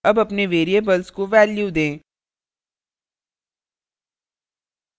अब अपने variables को values दें